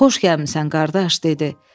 Xoş gəlmisən, qardaş dedi.